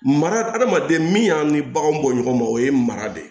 Mara hadamaden min y'a ni baganw bɔ ɲɔgɔn ma o ye mara de ye